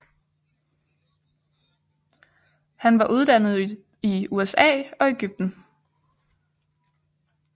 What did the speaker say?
Han var uddannet i USA og Egypten